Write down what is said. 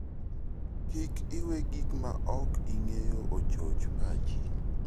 Kik iwe gik maok ing'eyo ochoch pachi.